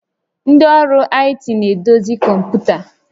Ndị ọrụ IT na-edozi kọmpụta